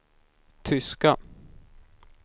tyska